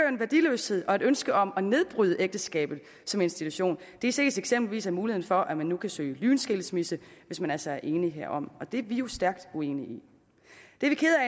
en værdiløshed og et ønske om at nedbryde ægteskabet som institution det ses eksempelvis af muligheden for at man nu kan søge lynskilsmisse hvis man altså er enige herom og det er vi jo stærkt uenige